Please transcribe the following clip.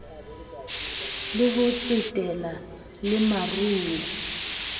le ho tsetela le meruo